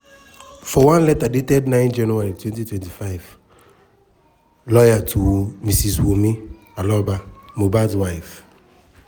for one letter dated 9 january 2025 lawyer to mrs wunmi aloba (mohabd wife)